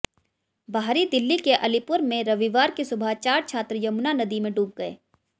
बाहरी दिल्ली के अलीपुर में रविवार की सुबह चार छात्र यमुना नदी में डूब गए